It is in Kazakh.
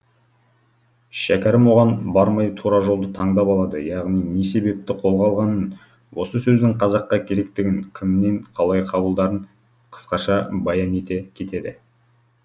шәкәрім оған бармай тура жолды таңдап алады яғни не себепті қолға алғанын осы сөздің қазаққа керектігін кімнен қалай қабылдарын қысқаша баян ете кетеді